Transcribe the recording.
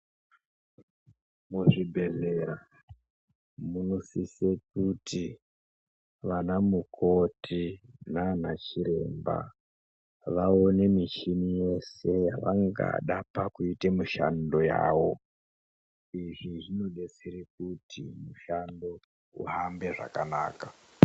Muzvibhedhlera munosise kuti vanamukoti nanachiremba vaone michini yeshe yavangada pakuite mishando yawo, izvi zvinodetsere kuti mushando uhambe zvakanaka.